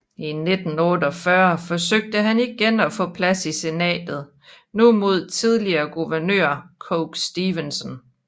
I 1948 forsøgte han igen at få plads i senatet nu mod tidligere guvernør Coke Stevenson